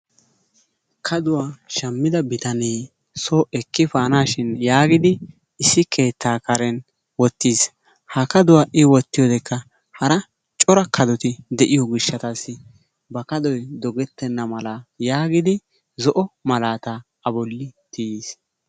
kaduwa shamida bitanee soo efaanashin issi keetaa karen wotis, ha kadoy hara cora kadoti de'iyo gishaassi dogetenna mala zo'o malaataa wotiis.